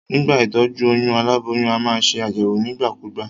Nígbà ìtójú oyún, aláboyún a maa se àyèwò nígbà kúgbà